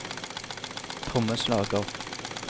trommeslager